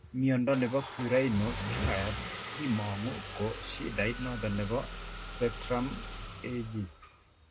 Mnyondo nebo Currarino triad kimango ko shida noton nebo spectrum ag